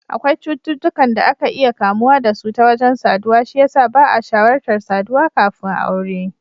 Akwai cututtukan da akan iya kamuwa da su ta wajen saduwa, shi yasa ba'a shawartar saduwa kafin aure.